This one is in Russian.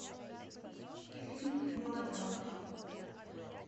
фильм мелодрама